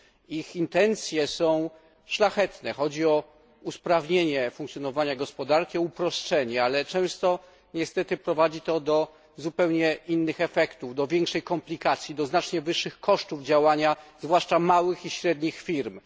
Ich intencje są szlachetne chodzi o usprawnienie funkcjonowania gospodarki, o uproszczenie ale często niestety prowadzi to do zupełnie innych efektów, do większej komplikacji, do znacznie wyższych kosztów działania, zwłaszcza małych i średnich firm.